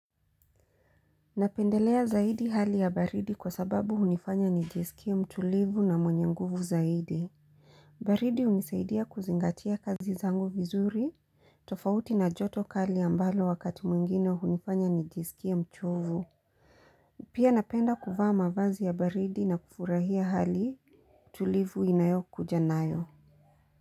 Napendelea zaidi hali ya baridi kwa sababuhunifanya nijisikie mtulivu na mwenye nguvu zaidi. Baridi hunisaidia kuzingatia kazi zangu vizuri. Tofauti na joto kali ambalo wakati mwingine hunifanya nijisikie mchovu. Pia napenda kuvaa mavazi ya baridi na kufurahia hali tulivu inayo kuja nayo.